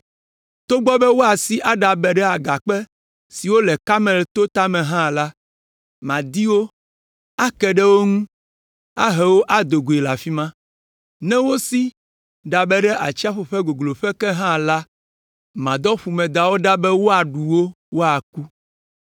Togbɔ be woasi aɖabe ɖe agakpe siwo le Karmel to tame hã la, madi wo, ake ɖe wo ŋu, ahe wo ado goe le afi ma. Ne wosi ɖabe ɖe atsiaƒu ƒe gogloƒe ke hã la, madɔ ƒumedawo ɖa be woaɖu wo, woaku.